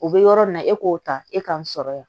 O bɛ yɔrɔ min na e k'o ta e k'an sɔrɔ yan